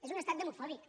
és un estat demofòbic